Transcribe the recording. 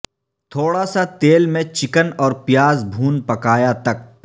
تھوڑا سا تیل میں چکن اور پیاز بھون پکایا تک